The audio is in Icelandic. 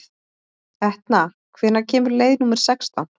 Etna, hvenær kemur leið númer sextán?